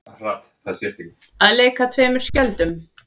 Að leika tveimur skjöldum